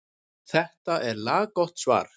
Þetta er laggott svar.